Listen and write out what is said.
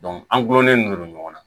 an gulonnen don ɲɔgɔn na